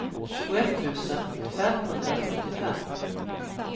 tjugoett tusen femhundrasjuttiofem